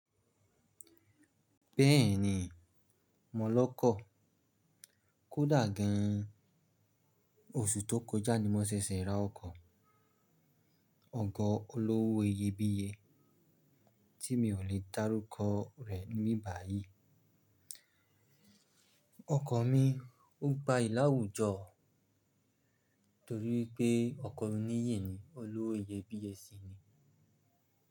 Bẹ́ẹ̀ni, mọ́ lọ́kọ̀. Kódà gan, oṣù tó kọjá ni mo ṣẹ̀ṣẹ̀ ra ọkọ̀. Ọkọ̀ olówó iyebíye tí mi ò lè dárúkọ rẹ̀ níbibàyí. Ọkọ̀ mi, ó gbayì làwùjọ torí pé ọkọ̀ oníyèní olówó iyebíye sì ni.